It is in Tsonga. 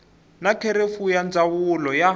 na kherefu ya ndzawulo ya